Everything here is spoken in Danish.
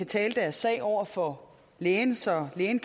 tale deres sag over for lægen så lægen